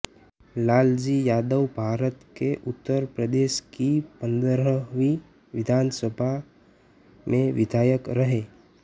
लाल जी यादवभारत के उत्तर प्रदेश की पंद्रहवी विधानसभा सभा में विधायक रहे